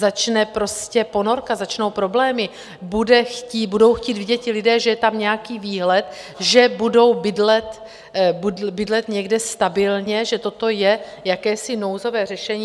Začne ponorka, začnou problémy, budou chtít vidět ti lidé, že je tam nějaký výhled, že budou bydlet někde stabilně, že toto je jakési nouzové řešení.